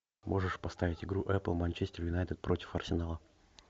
можешь поставить игру апл манчестер юнайтед против арсенала